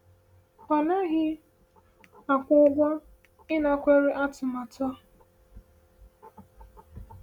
“Ọ naghị akwụ ụgwọ ịnakwere atụmatụ a.”